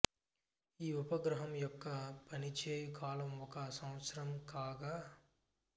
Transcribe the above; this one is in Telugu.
ఈ ఉపగ్రహం యొక్క పనిచేయ్యు కాలం ఒక సంవత్సరం కాగా